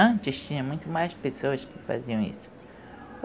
Antes tinha muito mais pessoas que faziam isso.